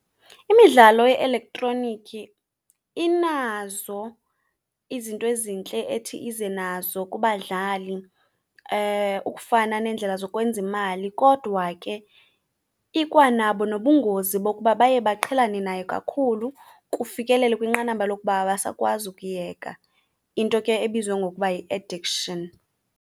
Imidlalo ye-eletroniki inazo izinto ezintle ethi ize nazo kubadlali ukufana neendlela zokwenza imali. Kodwa ke ikwanabo nobungozi bokuba baye baqhelane nayo kakhulu kufikelele kwinqanaba lokuba abasakwazi ukuyeka, into ke ebizwa ngokuba yi-addiction.